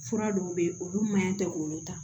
Fura dɔw bɛ yen olu man ɲɛ tɛ k'olu ta